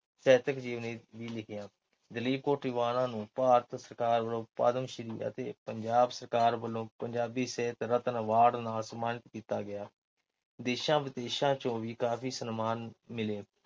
ਸਾਹਿਤਕ ਜੀਵਨੀ ਵੀ ਲਿਖੀਆਂ। ਦਲੀਪ ਕੌਰ ਟਿਵਾਣਾ ਨੂੰ ਭਾਰਤ ਸਰਕਾਰ ਵੱਲੋਂ ਪਦਮ ਸ੍ਰੀ ਅਤੇ ਪੰਜਾਬ ਸਰਕਾਰ ਵੱਲੋਂ ਪੰਜਾਬੀ ਸਾਹਿਤ ਰਤਨ ਐਵਾਰਡ ਨਾਲ ਸਨਮਾਨਿਤ ਕੀਤਾ ਗਿਆ। ਦੇਸ਼ਾਂ-ਵਿਦੇਸ਼ਾਂ ਤੋਂ ਵੀ ਕਾਫ਼ੀ ਸਨਮਾਨ ਮਿਲੇ।